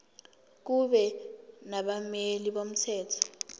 kube nabameli bomthetho